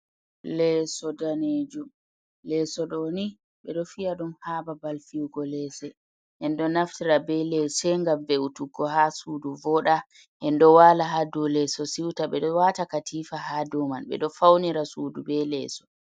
Lesodaneju, leso doni be do fi’a dum ha babal fiwugo lese ,en do naftira be lese gam ve’utuggo ha sudu voda en do wala hadu leso siuta be do wata katifa ha doman be do faunira sudu be leeso.